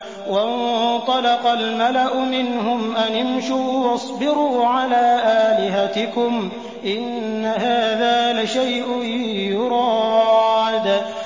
وَانطَلَقَ الْمَلَأُ مِنْهُمْ أَنِ امْشُوا وَاصْبِرُوا عَلَىٰ آلِهَتِكُمْ ۖ إِنَّ هَٰذَا لَشَيْءٌ يُرَادُ